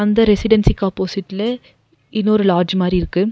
இந்த ரெசிடென்சிக்கு ஆப்போசிட்ல இன்னொரு லாட்ஜ் மாரி இருக்கு.